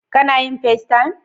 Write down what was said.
Kana yin FaceTime?